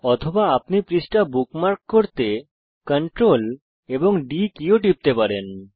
অথবা আপনি পৃষ্ঠা বুকমার্ক করতে CTRL এবং D কী ও টিপতে পারেন